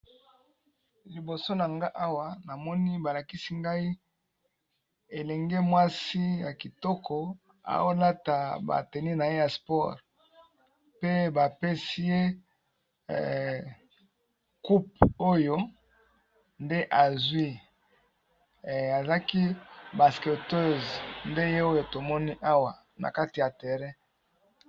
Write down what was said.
Liboso na nga awa na moni ba lakisi ngai elenge mwasi ya kitoko azo lata ba tenues na ye ya sport pe ba pesi ye coupe oyo nde azwi . A zalaki basqueteuse nde ye oyo to moni awa na kati ya terrain .